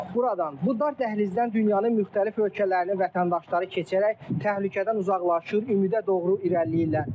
Buradan bu dar dəhlizdən dünyanın müxtəlif ölkələrinin vətəndaşları keçərək təhlükədən uzaqlaşır, ümidə doğru irəliləyirlər.